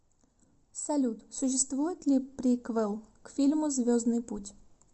салют существует ли приквел к фильму звездныи путь